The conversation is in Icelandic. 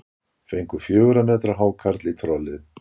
Fengu fjögurra metra hákarl í trollið